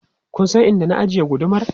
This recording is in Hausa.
Kun san inda na ajiye gudumar?